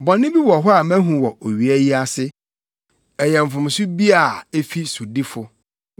Bɔne bi wɔ hɔ a mahu wɔ owia yi ase ɛyɛ mfomso bi a efi sodifo: